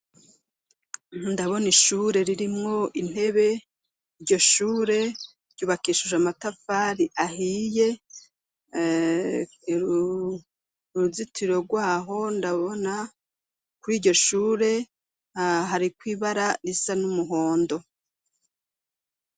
Ntundabona ishure ririmwo intebe iryo shure ryubakeshuje amatafari ahiye uruzitiro rwaho ndabona kuri iryo shure a hariko ibara risa n'umuhondo.